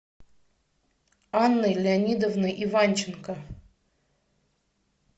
анной леонидовной иванченко